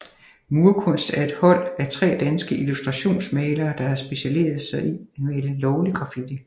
Murkunst er et hold af tre danske illustrationsmalere der har specialiceret sig i at male lovlig graffiti